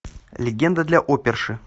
легенда для оперши